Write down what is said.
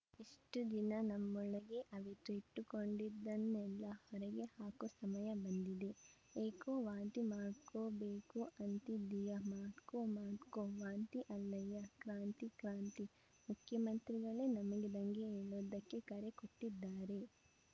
ಇಷ್ಟುದಿನ ನಮ್ಮೊಳಗೇ ಅವಿತು ಇಟ್ಟುಕೊಂಡಿದ್ದನ್ನೆಲ್ಲ ಹೊರಗೆ ಹಾಕೋ ಸಮಯ ಬಂದಿದೆ ಏಹೋ ವಾಂತಿ ಮಾಡ್ಕೋಬೇಕು ಅಂತಿದ್ದೀಯಾ ಮಾಡ್ಕೋ ಮಾಡ್ಕೋ ವಾಂತಿ ಅಲ್ಲಯ್ಯ ಕ್ರಾಂತಿ ಕ್ರಾಂತಿ ಮುಖ್ಯಮಂತ್ರಿಗಳೇ ನಮಗೆ ದಂಗೆ ಏಳೋದಕ್ಕೆ ಕರೆ ಕೊಟ್ಟಿದ್ದಾರೆ